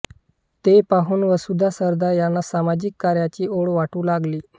ते पाहून वसुधा सरदार यांना सामाजिक कार्याची ओढ वाटू लागली